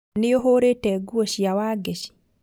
Nĩuhũrĩte nguo cia Wangeci